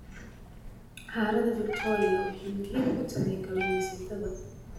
Harada Victoria waxay muhiim u tahay kalluumaysatada